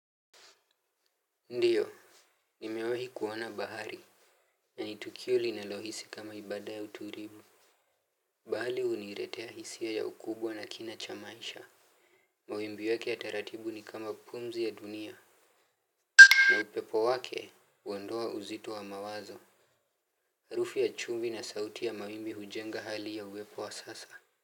Ndiyo. Nimewehi kuona bahari. Nani tukio linalohsi kama ibada ya uturibu. Bahali uniretea hisia ya ukubwa na kina chamaisha. Mawimbi yake ya taratibu ni kama pumzi ya dunia. Na upepo wake uondoa uzito wa mawazo. Harufi ya chumvi na sauti ya mawimbi hujenga hali ya uwepo wa sasa.